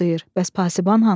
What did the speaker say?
Bəs pasiban hanı?